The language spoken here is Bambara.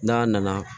N'a nana